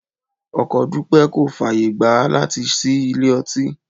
Ọkọ Dúpẹ́ kò fàyè gbà á láti ṣí ilé ọtí